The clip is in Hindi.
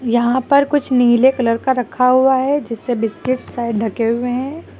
यहां पर कुछ नीले कलर का रखा हुआ है जिससे बिस्किट शायद ढके हुए हैं।